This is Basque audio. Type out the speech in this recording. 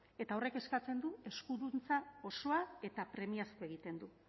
eta horrek eskatzen du eskuduntza osoa eta premiazkoa egiten du